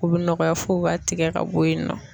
U bɛ nɔgɔya f'u b'a tigɛ ka bɔ yen nɔ.